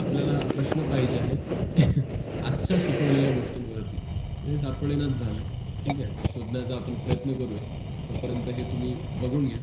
आपल्याला प्रश्न पाहिजे आहेत आजचा शिकवलेल्या गोष्टीवर ती ते सापडेना झालं ठीक आहे ते शोधण्याचा आपण प्रयत्न करूया तोपर्यंत हे तुम्ही बघून घ्या